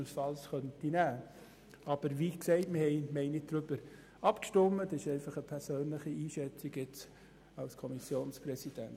Das ist meine persönliche Einschätzung als Kommissionspräsident.